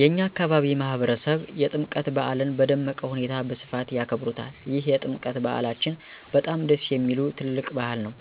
የእኛ አካባቢ ማህበረሰብ የጥምቀት በዓልን በደመቀ ሁኔታ በስፋት ያከብሩታል ይህ የጥምቀት በዓላችን በጣም ደስ የሚል ትልቅ በዓል ነዉ።